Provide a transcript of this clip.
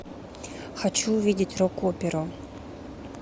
хочу увидеть рок оперу